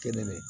Kelen ne